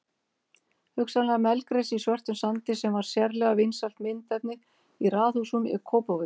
Hugsanlega melgresi í svörtum sandi sem var sérlega vinsælt myndefni í raðhúsum í Kópavogi.